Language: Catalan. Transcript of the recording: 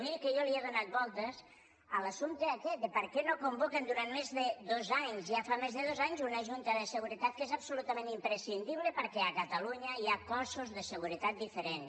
miri que jo he donat voltes a l’assumpte aquest de per què no convoquen durant més de dos anys ja fa més de dos anys una junta de seguretat que és absolutament imprescindible perquè a catalunya hi ha cossos de seguretat diferents